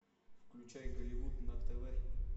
включай голливуд на тв